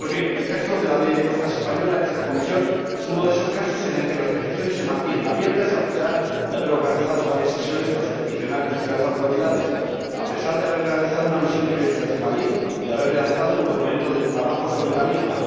Pues bien, el caso de la Ley de Costas española en esta comisión es uno de esos casos en el que las peticiones se mantienen abiertas, a pesar de haber organizado varias sesiones con los peticionarios y las autoridades, a pesar de haber realizado una misión de investigación y de haber redactado un documento de trabajo sobre la misma.